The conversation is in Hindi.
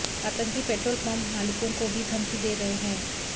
आतंकी पेट्रोल पम्प मालिकों को भी धमकी दे रहे हैं